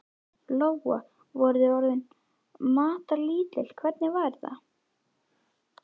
Lóa: Voruð þið orðin matarlítil, hvernig var þetta?